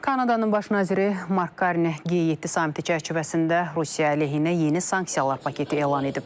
Kanadanın Baş naziri Mark Karni G7 samiti çərçivəsində Rusiya əleyhinə yeni sanksiyalar paketi elan edib.